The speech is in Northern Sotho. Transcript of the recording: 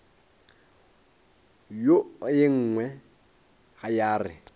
wo ye nngwe ya re